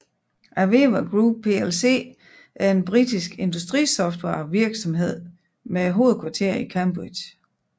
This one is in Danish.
AVEVA Group plc er en britisk industrisoftwarevirksomhed med hovedkvarter i Cambridge